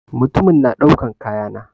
Mutumin na daukan kaya na.